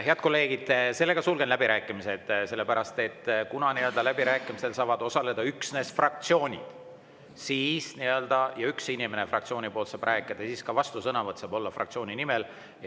Head kolleegid, sulgen läbirääkimised, sellepärast et kuna läbirääkimistel saavad osaleda üksnes fraktsioonid ja üks inimene fraktsioonist saab rääkida, siis saab ka vastusõnavõtt olla fraktsiooni nimel.